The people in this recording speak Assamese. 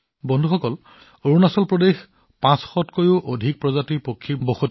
বন্ধুসকল অৰুণাচল প্ৰদেশত ৫০০তকৈও অধিক প্ৰজাতিৰ চৰাই আছে